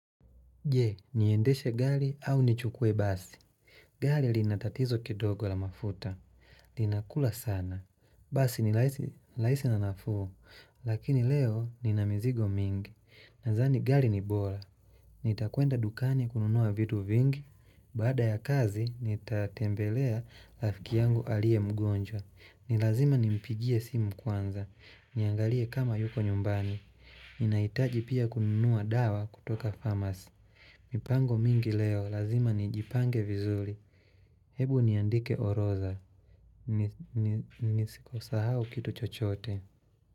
Je, niendeshe gari au nichukue basi. Gari lina tatizo kidogo la mafuta. Linakula sana. Basi ni rahisi na nafuu. Lakini leo nina mizigo mingi. Nadhani gali ni bora. Nitakwenda dukani kununua vitu vingi. Baada ya kazi, nitatembelea rafiki yangu aliye mgonjwa. Ni lazima nimpigie simu kwanza. Niangalie kama yuko nyumbani. Ninahitaji pia kununua dawa kutoka pharmacy. Mipango mingi leo, lazima nijipange vizuri Hebu niandike orodha Nisiko sahau kitu chochote.